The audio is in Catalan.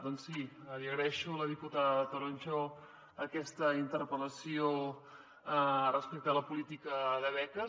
doncs sí li agraeixo a la diputada toronjo aquesta interpel·lació respecte a la política de beques